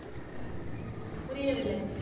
புரியவில்லை